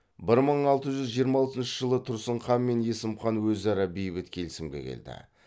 бір мың алты жүз жиырма алтыншы жылы тұрсын хан мен есім хан өзара бейбіт келісімге келді